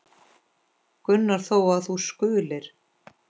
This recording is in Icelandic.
Gunnar þó, að þú skulir.